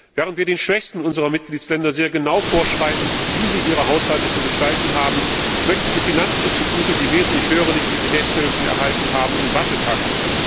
Während wir den schwächsten unserer Mitgliedstaaten sehr genau vorschreiben, wie sie ihren Haushalt zu gestalten haben, möchten Sie Finanzinstitute, die wesentlich höhere Liquiditätshilfen erhalten haben, in Watte packen.